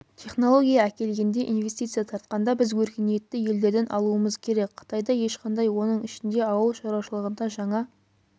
технология әкелгенде инвестиция тартқанда біз өркениетті елдерден алуымыз керек қытайда ешқандай оның ішінде ауыл шаруашылығында жаңа